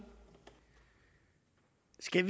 skal